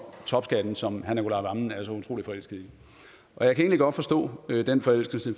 topskat som herre nicolai wammen er så utrolig forelsket i jeg kan godt forstå den forelskelse